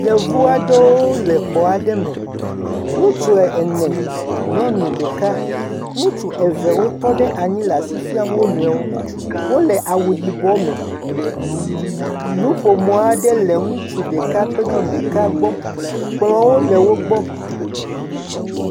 Yevu aɖewo le xɔ aɖe me. Ŋutsu ene nyɔnu ɖeka. Ŋutsu eve wotɔ ɖe nyi le asi fiam wo nɔe wo. Wole awu yibɔ me. Nuƒomɔ aɖe le ŋutsu ɖeka kple nyɔnu ɖeka gbɔ. Kplɔ̃wo le wogbɔ.